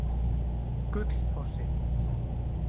Gullfossi